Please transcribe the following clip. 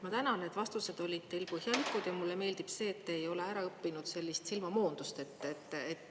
Ma tänan, et vastused olid põhjalikud, ja mulle meeldib see, et te ei ole ära õppinud sellist silmamoondust.